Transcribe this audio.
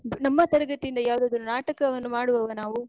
ನಮ್ಮ ತರಗತಿ ಇಂದ ಯಾವದಾದ್ರು ನಾಟಕವನ್ನು ಮಾಡುವವ ನಾವೂ?